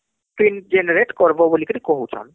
Pin Generate କରବ ବଳିକିରୀ କହୁଛନ